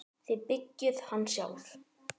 Þið byggðuð hann sjálf.